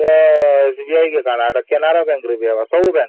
ଏଇଟା SBI କଣ canada bank ରେ ବି କରିବେ